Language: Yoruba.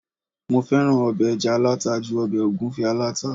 mo fẹràn obe eja alata ju obe ogunfe alata